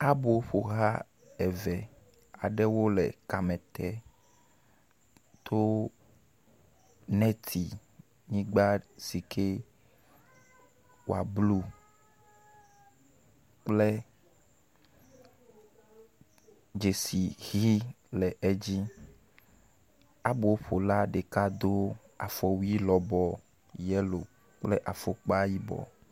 Aboƒoha eve aɖewo le kame tem to neti yigba si ke wa blu kple dzesi ʋɛ̃ le dzi. Aboƒola ɖeka do afɔwui lɔbɔ yelo kple afɔkpa yibɔ.